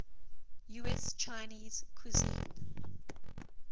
us chinese cuisine